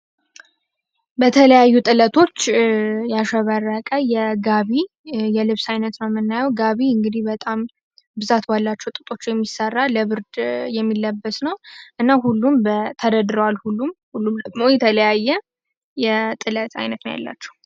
በተለያዩ ጥለቶች ያሸበረቀ የጋቢ የልብስ አይነት ጋቢ እንግዲህ በጣም ብዛት ባላቸው የሚሰራ ለብርድ የሚለበስነው ሁሉም በተረዋል ሁሉም ሁሉም የተለያየ የጥለት አይነት ያላቸው።